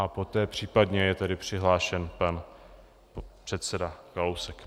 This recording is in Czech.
A poté případně je tedy přihlášen pan předseda Kalousek.